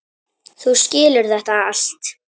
Þú skilur þetta allt.